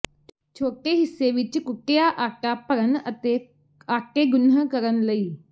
ਛੋਟੇ ਹਿੱਸੇ ਵਿੱਚ ਕੁੱਟਿਆ ਆਟਾ ਭਰਨ ਅਤੇ ਆਟੇ ਗੁਨ੍ਹ ਕਰਨ ਲਈ